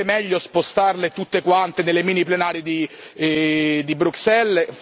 Non sarebbe meglio spostarle tutte quante nelle mini plenarie di Bruxelles?